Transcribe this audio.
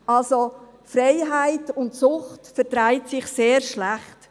Also: Freiheit und Sucht vertragen sich sehr schlecht.